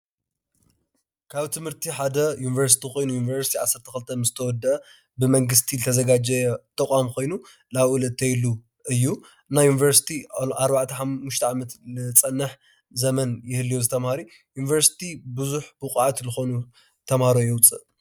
ካብ ትምህርቲ ሓደ ዩንቨርስቲ ኮይኑ ይንቨርስቲ ዓሰርተ ክልተ ምስ ተዎድአ ብመንግስቲ ዝተዛጋጀወ ተቋም ኮይኑ ናብኡ ዝእተየሉ እዩ፡፡ ናይ ዩንቨርስቲ ኣርባዕተ ሓሙሽተ ዓመት ንፀንሕ ዘመን ይልዉ ዝተምሃሩ። ዩንቨርስቲ ቡዝሕ ቡቅዓት ዝኮኑ ተምሃሮ የውፅእ፡፡